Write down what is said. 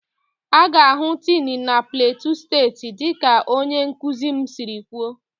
A ga-ahụ tin na plateau steeti dịka onye nkuzi m siri kwuo